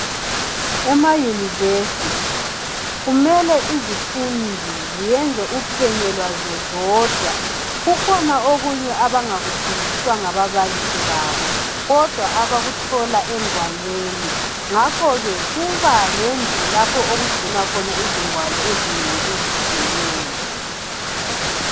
EmaYunivesithi kumele izifundi ziyenze uphenyo lwazo zodwa. Kukhona okunye abangakufundiswa ngababalisi babo kudwa abakuthola engwalweni. Ngakho ke kuba lendlu lapho okugcinwa khona izingwalo ezinengi ezitshiyeneyo.